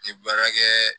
N tɛ baara kɛ